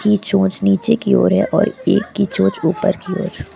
की चोच नीचे की ओर है और एक की चोच ऊपर की ओर है।